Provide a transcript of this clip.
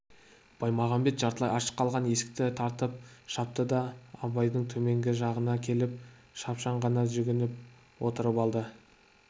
баймағамбет жартылай ашық қалған есікті тартып жапты да абайдың төменгі жағына келіп шапшаң ғана жүгініп отырып алды